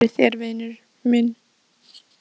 Veltu þessu fyrir þér, vinur minn.